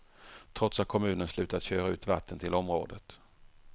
Trots att kommunen slutat köra ut vatten till området.